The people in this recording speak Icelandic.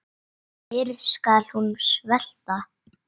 Fyrr skal hún svelta.